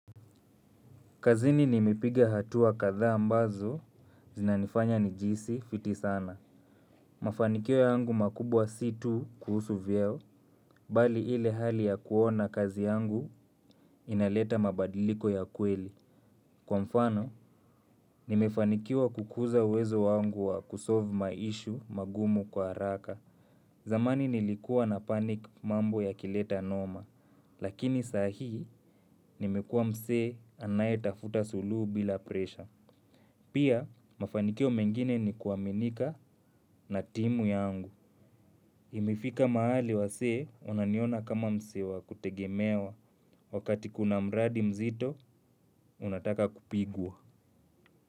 Kazini nimipiga hatua kadhaa ambazo, zinanifanya nijihisi fiti sana. Mafanikio yangu makubwa si tu kuhusu vyeo, bali ile hali ya kuona kazi yangu inaleta mabadiliko ya kweli. Kwa mfano, nimefanikiwa kukuza uwezo wangu wa kusolve maishu magumu kwa haraka. Zamani nilikua na panic mambo yakileta noma, lakini sahi nimekua mse anaye tafuta suluhu bila presha. Pia, mafanikio mengine ni kuwaminika na timu yangu. Imefika mahali wasee, wananiona kama msee wa kutegemewa. Wakati kuna mradi mzito, unataka kupigwa.